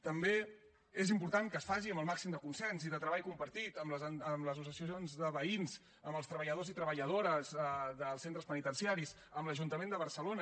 també és important que es faci amb el màxim de consens i de treball compartit amb les associacions de veïns amb els treballadors i treballadores dels centres penitenciaris amb l’ajuntament de barcelona